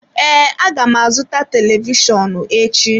Ee, aga m azụta televishọnụ echi.